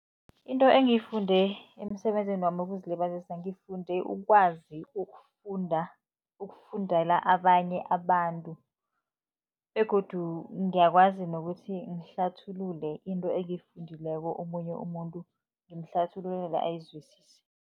Into engiyifunde emsebenzini wami wokuzilibazisa, ngifunde ukwazi ukufunda, ukufundela abanye abantu begodu ngiyakwazi nokuthi ngihlathulule into engiyifundileko, omunye umuntu ngimhlathululele ayizwisise.